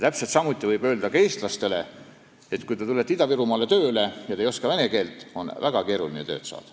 Täpselt samuti võib öelda eestlastele, et kui nad tulevad Ida-Virumaale tööle ega oska vene keelt, on väga keeruline tööd saada.